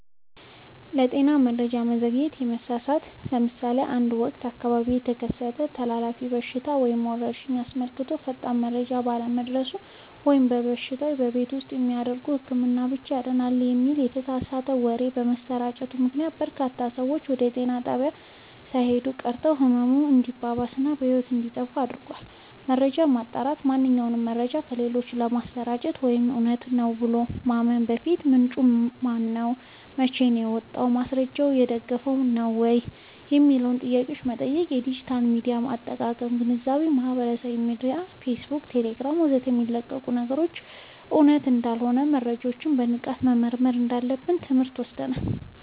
የጤና መረጃ መዘግየት/መሳሳት፦ ለምሳሌ በአንድ ወቅት በአካባቢው የተከሰተን ተላላፊ በሽታ ወይም ወረርሽኝ አስመልክቶ ፈጣን መረጃ ባለመድረሱ ወይም በሽታው "በቤት ውስጥ በሚደረግ ህክምና ብቻ ይድናል" የሚል የተሳሳተ ወሬ በመሰራጨቱ ምክንያት፣ በርካታ ሰዎች ወደ ጤና ጣቢያ ሳይሄዱ ቀርተው ህመሙ እንዲባባስ እና ህይወት እንዲጠፋ አድርጓል። መረጃን ማጣራት፦ ማንኛውንም መረጃ ለሌሎች ከማሰራጨት ወይም እውነት ነው ብሎ ከማመን በፊት፣ "ምንጩ ማነው? መቼ ወጣ? በማስረጃ የተደገፈ ነው?" የሚሉትን ጥያቄዎች መጠየቅ። የዲጂታል ሚዲያ አጠቃቀም ግንዛቤ፦ በማህበራዊ ሚዲያ (ፌስቡክ፣ ቴሌግራም ወዘተ) የሚለቀቁ ነገሮች ሁሉ እውነት እንዳልሆኑና መረጃዎችን በንቃት መመርመር እንዳለብን ትምህርት ወስደናል።